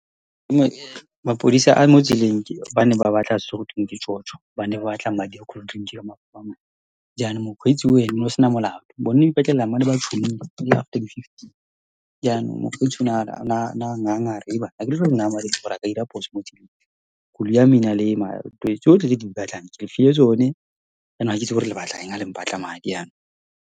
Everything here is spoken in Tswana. Mapodisa a mo tseleng ba ne ba batla se gotweng ke tjotjo, ba ne ba batla madi a cooldrink . Jaanong mokgweetsi o ene, o ne a sena molato. Bone ba ipatlela, ba ne ba ene ele after di-fifteen. Jaanong mokgweetsi o a nganga, a re, Hebanna!, akere ha ke a dira phoso motseleng. Koloi ya me e na le tsotlhe tse le di batlang, ke lefile tsone. Jaanong ga ke itse le batlang ha le mpatla madi .